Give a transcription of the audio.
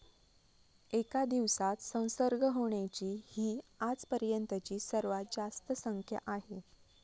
एका दिवसात संसर्ग होण्याची ही आजपर्यंतची सर्वात जास्त संख्या आहे.